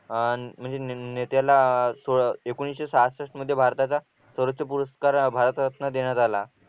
अह म्हणजे नेत्याला अह एकोणीशे सहाषष्ठ मध्ये भारताचा स्वराज्य पुरस्कार भारतरत्न देण्यात आला